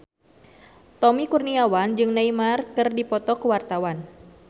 Tommy Kurniawan jeung Neymar keur dipoto ku wartawan